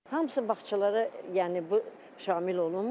Hamısı bağçalara, yəni bu şamil olunmur.